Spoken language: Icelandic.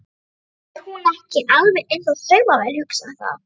Er hún ekki alveg eins og saumavél, hugsaði það.